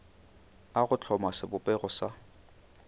a go hloma sebopego sa